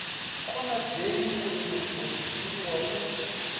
konadzei uri muofisiri wa u